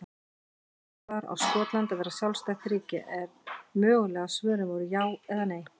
Spurt var á Skotland að vera sjálfstætt ríki? en mögulegu svörin voru já eða nei.